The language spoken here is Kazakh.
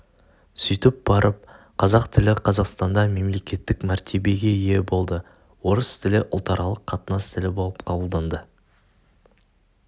сөйтіп барып қазақ тілі қазақстанда мемлекеттік мәртебиеге ие болды орыс тілі ұлтаралық қатынас тілі болып қабылданды